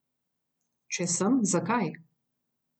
Če sem, zakaj?